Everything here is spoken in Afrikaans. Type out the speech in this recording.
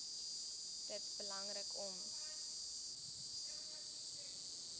dit belangrik om